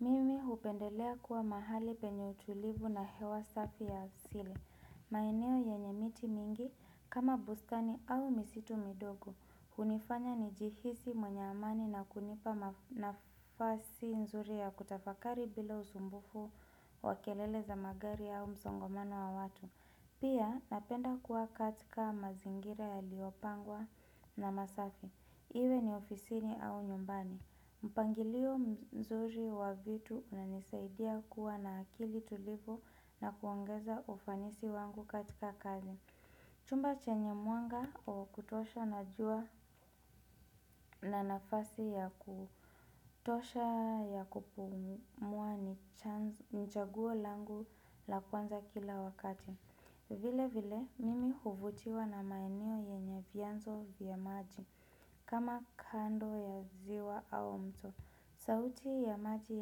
Mimi hupendelea kuwa mahali penye utulivu na hewa safi ya asili. Maeneo yenye miti mingi kama bustani au misitu midogo. Hunifanya ni jihisi mwenye amani na kunipa nafasi nzuri ya kutafakari bila usumbufu wa kelele za magari au msongomano wa watu. Pia napenda kuwa katika mazingira yaliopangwa na masafi. Iwe ni ofisini au nyumbani. Mpangilio mzuri wa vitu unanisaidia kuwa na akili tulivo na kuongeza ufanisi wangu katika kazi. Chumba chenye mwanga wa kutosha na jua na nafasi ya kutosha ya kupumua ni chaguo langu la kwanza kila wakati. Vile vile mimi huvutiwa na maeneo yenye vianzo vya maji kama kando ya ziwa au mto. Sauti ya maji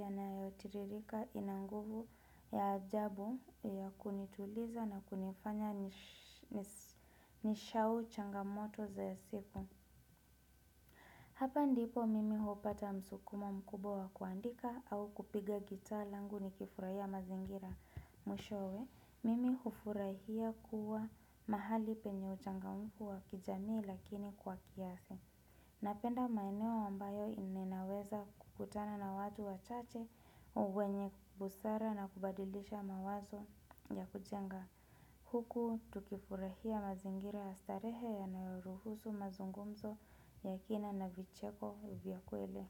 yanayotiririka inanguvu ya ajabu ya kunituliza na kunifanya nishau changamoto za siku. Hapa ndipo mimi hupata msukumo mkubwa wa kuandika au kupiga gitaa langu ni kifurahia mazingira. Mwishowe, mimi hufurahia kuwa mahali penye uchangamufu wa kijamii lakini kwa kiasi. Ninapenda maeneo ambayo ninaweza kukutana na watu wachache wenye busara na kubadilisha mawazo ya kujenga huku tukifurahia mazingira astarehe yanayoruhusu mazungumzo ya kina na vicheko vyakweli.